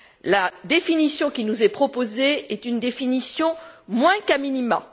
La définition qui nous est proposée est une définition moins qu'a minima.